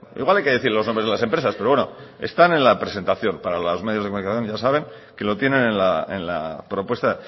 igual hay que decir los nombres de las empresas pero bueno están en la presentación para los medios de comunicación ya saben que lo tienen en la propuesta